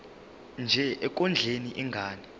nje ekondleni ingane